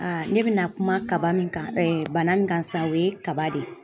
ne bɛna kuma kaba min kan bana min kan sa o ye kaba de ye.